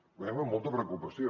ho veiem amb molta preocupació